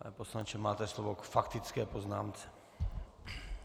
Pane poslanče, máte slovo k faktické poznámce.